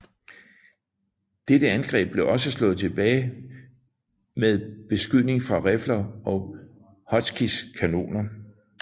Dette angreb blev også slået tilbage med beskydning fra rifler og Hotchkiss kanoner